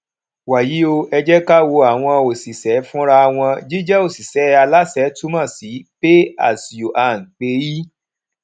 wàyí o ẹ jẹ ká wo àwọn òṣìṣẹ fúnra wọn jíjẹ òṣìṣẹ aláṣẹ túmọ sí pay as you earn paye